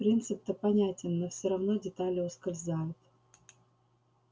принцип-то понятен но все равно детали ускользают